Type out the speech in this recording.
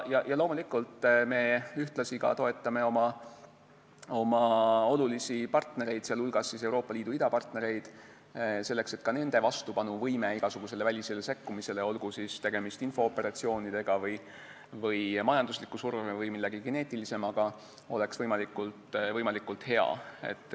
Loomulikult, me toetame ka oma olulisi partnereid, sh Euroopa Liidu idapartnereid, selleks et ka nende vastupanuvõime igasugusele välisele sekkumisele – olgu siis tegemist infooperatsioonidega, majandusliku surve või millegi geneetilisemaga – oleks võimalikult hea.